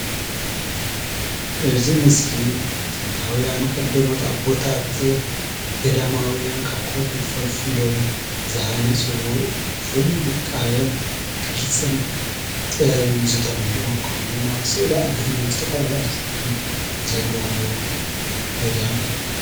እዚ ምስሊ ጥንታውያን ቀዳሞት ኣቦታት ገዳማውያን ካብ ከውሒ ፈልፊሎም ዝሃነፅዎ ፍሉይ ውቃበን ቅርፅን ጥበብን ዝተመልኦ ከምኡ ድማ ስእሊ ኣድህኖንን ዝተፈላለዩ ቅርፅታት ዘለዎ ገዳም እዩ።